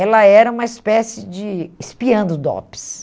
ela era uma espécie de espiã do DOPS.